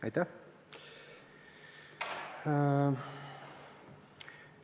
Aitäh!